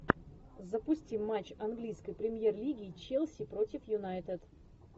запусти матч английской премьер лиги челси против юнайтед